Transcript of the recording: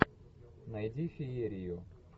найди феерию